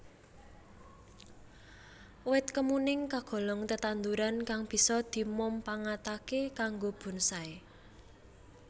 Wit kemuning kagolong tetanduran kang bisa dimumpangataké kanggo bonsai